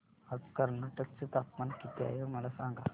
आज कर्नाटक चे तापमान किती आहे मला सांगा